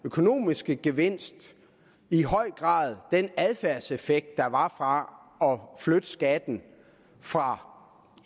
økonomiske gevinst i høj grad den adfærdseffekt der var fra at flytte skatten fra